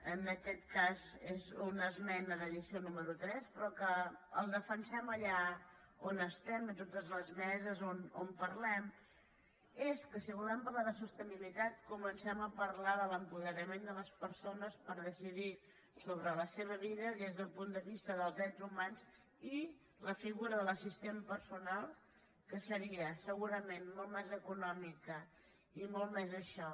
en aquest cas és una esmena d’addició número tres però que el defensem allà on estem a totes les meses on parlem és que si volem parlar de sostenibilitat comencem a parlar de l’apoderament de les persones per decidir sobre la seva vida des del punt de vista dels drets humans i la figura de l’assistent personal que seria segurament molt més econòmica i molt més això